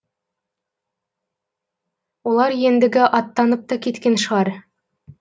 олар ендігі аттанып та кеткен шығар